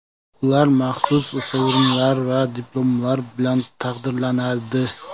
Ular maxsus sovrinlar va diplomlar bilan taqdirlanadi.